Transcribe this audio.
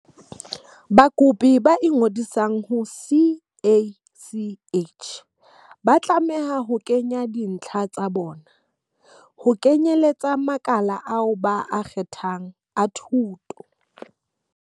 Bakopi ba ingodisang ho CACH ba tlameha ho kenya dintlha tsa bona, ho kenyeletsa makala ao ba a kgethang a thuto.